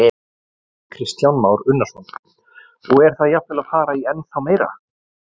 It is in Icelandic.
Kristján Már Unnarsson: Og er það jafnvel að fara í ennþá meira?